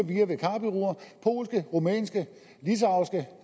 polske rumænske